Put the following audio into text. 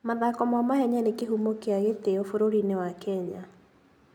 Mathako ma mahenya nĩ kĩhumo kĩa gĩtĩo bũrũri-inĩ wa Kenya.